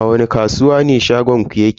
A wani kasuwa ne shagonku yake?